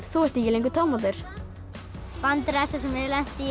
þú ert ekki lengur tómatur vandræðasta sem ég hef lent í